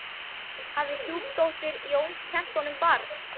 Hafði stjúpdóttir Jóns kennt honum barn.